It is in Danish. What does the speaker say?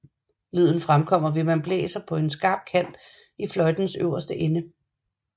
Lyden fremkommer ved at man blæser på en skarp kant i fløjtens øverste ende